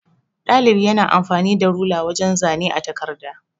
Ɗalibi yana amfani da rula wajan zane a takarda.